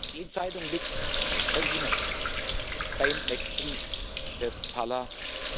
Die Entscheidung liegt bei Ihnen, beim nächsten Parlament.